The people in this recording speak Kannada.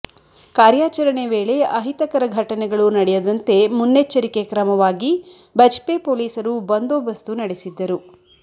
ಕಾರ್ಯಾಚರಣೆ ವೇಳೆ ಅಹಿತಕರ ಘಟನೆಗಳು ನಡೆಯದಂತೆ ಮುನ್ನೆಚ್ಚರಿಕೆ ಕ್ರಮವಾಗಿ ಬಜ್ಪೆ ಪೊಲೀಸರು ಬಂದೋಬಸ್ತು ನಡೆಸಿದ್ದರು